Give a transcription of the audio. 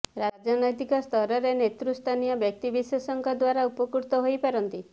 ରାଜନୈତିକ ସ୍ତରରେ ନେତୃ ସ୍ଥାନୀୟ ବ୍ୟକ୍ତିବିଶେଷଙ୍କ ଦ୍ୱାରା ଉପକୃତ ହୋଇପାରନ୍ତି